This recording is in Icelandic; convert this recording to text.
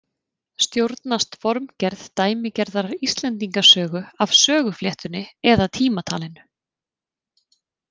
Stjórnast formgerð dæmigerðrar Íslendingasögu af sögufléttunni eða tímatalinu?